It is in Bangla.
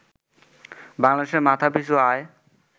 বাংলাদেশে মাথাপিছু আয়